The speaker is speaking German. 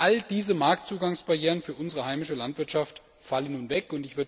All diese Marktzugangsbarrieren für unsere heimische Landwirtschaft fallen nun weg.